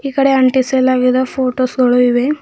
ಈಕಡೆ ಅಂಟಿಸಲಾಗಿದ ಪೋಟೋಸ್ ಗಳು ಇವೆ.